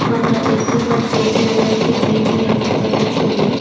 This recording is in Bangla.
আমরা দেখতে পারছি এটি হলো একটি বিল্ডিং -এর ভিতরের ছবি।